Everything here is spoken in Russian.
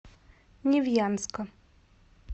невьянска